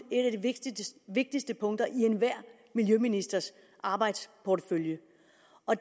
et af de vigtigste vigtigste punkter i enhver miljøministers arbejdsportefølje